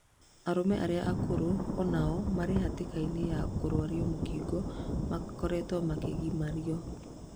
Arũme arĩa akũrũ na no o marĩ hatĩkaini yakurwario mũkingo makoretwo makĩgimario